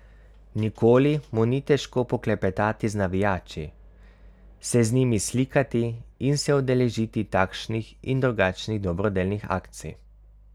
Nikoli mu ni težko poklepetati z navijači, se z njimi slikati in se udeležiti takšnih in drugačnih dobrodelnih akcij.